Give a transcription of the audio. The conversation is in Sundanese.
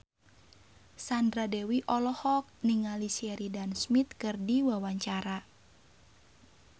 Sandra Dewi olohok ningali Sheridan Smith keur diwawancara